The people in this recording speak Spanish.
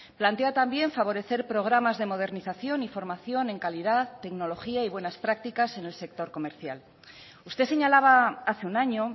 plantea también favorecer programas de modernización y formación en calidad tecnología y buenas prácticas en el sector comercial usted señalaba hace un año